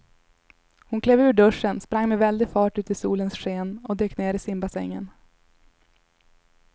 Hon klev ur duschen, sprang med väldig fart ut i solens sken och dök ner i simbassängen.